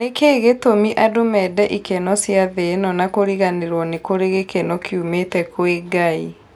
Nĩkĩĩ gĩtũmĩ andũ mende ĩkeno cĩa thĩ ĩno na kũrĩganĩrwo nî kũrĩ gîkeno kĩũmîte kwĩ Ngaî